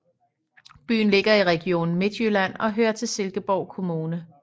Byen ligger i Region Midtjylland og hører til Silkeborg Kommune